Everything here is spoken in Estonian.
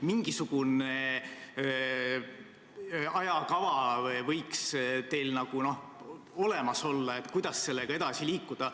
Mingisugune ajakava võiks teil olemas olla, kuidas sellega edasi liikuda.